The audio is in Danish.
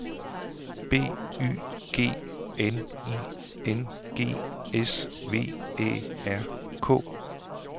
B Y G N I N G S V Æ R K